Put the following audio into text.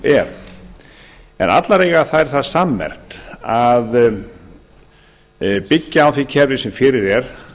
er en allar eiga það það sammerkt að byggja á því kerfi sem fyrir er